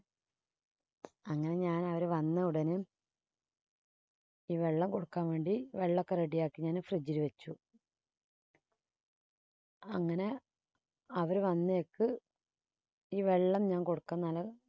അങ്ങനെ ഞാൻ അവര് വന്ന ഉടനെ ഈ വെള്ളം കൊടുക്കാൻ വേണ്ടി വെള്ളക്കെ ready യാക്കി ഞാന് fridge ൽ വച്ചു അങ്ങനെ അവര് വന്നേക്ക് ഈ വെള്ളം ഞാൻ കൊടുക്കാൻ